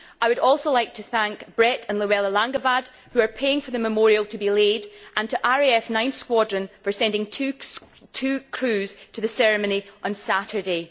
I would also like to thank Brett and Luella Langevad, who are paying for the memorial to be laid, and RAF 9 Squadron for sending two crews to the ceremony on Saturday.